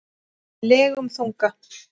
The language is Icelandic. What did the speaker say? legum þunga.